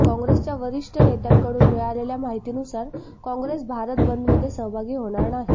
काँग्रेसच्या वरिष्ठ नेत्यांकडून मिळालेल्या माहितीनुसार काँग्रेस भारत बंदमध्ये सहभागी होणार नाही